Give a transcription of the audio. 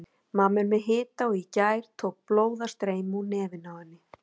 Mamma er með hita og í gær tók blóð að streyma úr nefinu á henni.